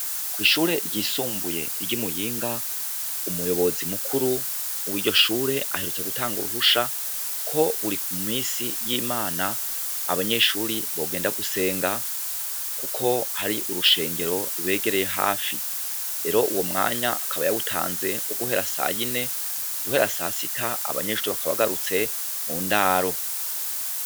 Kwishure ryisumbuye riri Muyinga, umuyobozi mukuru wiryo shure aherutse gutaga uruhusha ko buri minsi yimana abanyeshure bogenda gusenga kuko hari urushengero rubegereye hafi. rero uwo mwanya akaba yawutanze nko guhera sayine guhera sasita abanyeshure bakaba bagarutse mundaro.